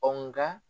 Ɔ nka